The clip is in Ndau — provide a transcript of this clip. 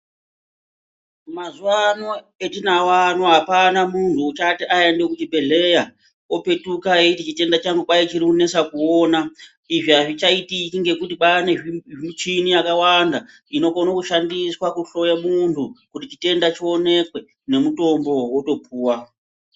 Mazuvaano, etinawo ano, hapana munhu uchati aende kuchibhedlera opetuka eyichitenda changu kwayi chirikunesa kuwona izvi hazvichaitiki ngekuti kwane zvimichini yakawanda inokone kushandiswa kuhloye munhu kuti chitenda chiwonekwe nemutombo wotopuwa.